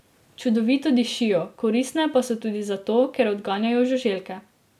Čudovito dišijo, koristne pa so tudi zato, ker odganjajo žuželke.